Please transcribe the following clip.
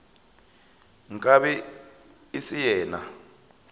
nka be e se yena